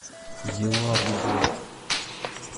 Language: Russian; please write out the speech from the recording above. елабугой